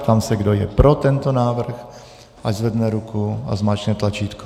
Ptám se, kdo je pro tento návrh, ať zvedne ruku a zmáčkne tlačítko.